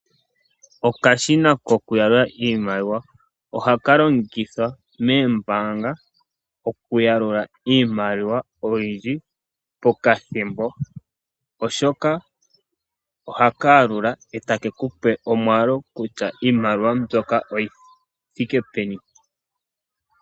Okashina kokuyalula iimaliwa, ohaka longithwa moombaanga okuyalula iimaliwa oyindji pokathimbo oshoka ohaka yalula etakeku pe omwaalu kutya iimaliwa mbyoka oyi thike peni.